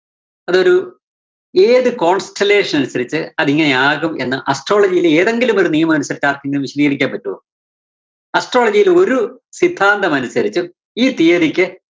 അതൊരു ഏത് constellation അനുസരിച്ച് അതിങ്ങനെയാകും എന്ന് astrology യിലെ ഏതെങ്കിലും ഒരു നിയമമനുസരിച്ച് ആര്‍ക്കെങ്കിലും വിശദീകരിക്കാന്‍ പറ്റുവോ? astrology യിലെ ഒരു സിദ്ധാന്തമനുസരിച്ചും ഈ തിയ്യതിക്ക്